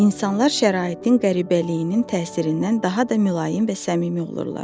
İnsanlar şəraitin qəribəliyinin təsirindən daha da mülayim və səmimi olurlar.